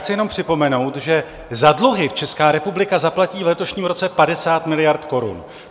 Chci jenom připomenout, že za dluhy Česká republika zaplatí v letošním roce 50 miliard korun.